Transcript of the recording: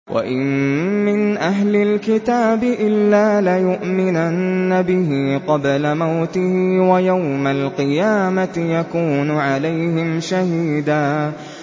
وَإِن مِّنْ أَهْلِ الْكِتَابِ إِلَّا لَيُؤْمِنَنَّ بِهِ قَبْلَ مَوْتِهِ ۖ وَيَوْمَ الْقِيَامَةِ يَكُونُ عَلَيْهِمْ شَهِيدًا